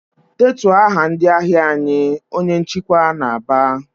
"Detuo aha ndị ahịa anyị!" Onye nchịkwa na-aba.